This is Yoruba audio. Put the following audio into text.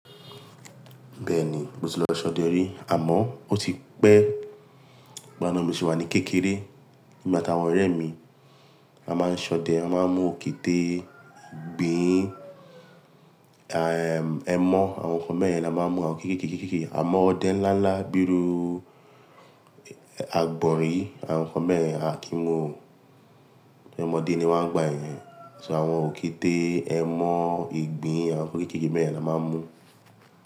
Bẹ́ẹ̀ni, mo ti lọ ṣọdẹ rí àmọ́ ó ti pẹ́, gbọ̀ná mo sì wà ní kékeré. Èmi àti àwọn ọ̀rẹ́ mi a máa ń ṣọdẹ, a máa ń mú òkìtè, ìgbín, à ẹmọ́ àwọn nǹkan beyen la máa ń mú, àwọn kéke kékeké. Àmọ́ ọdẹ ńlá ńlá bíi agbọ̀nrín àwọn nǹkan beyen a kì í mú, tí ọmọdé ni wọ́n ń gba yẹn. Ṣùgbọ́n àwọn òkìtè, ẹmọ́, ìgbín àwọn nǹkan kékeré beyen la máa ń mú.